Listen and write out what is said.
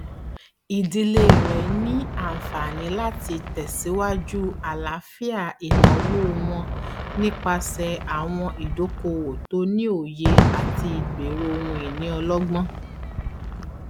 ìdílé rẹ ti ní àǹfààní láti tẹsíwájú àlàáfíà ìnáwó wọn nípasẹ àwọn ìdókòowó tó ní òye àti ìgbero ohunìní ọlọgbọn